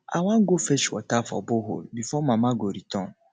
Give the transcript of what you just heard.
i wan go fetch water for borehole before mama go return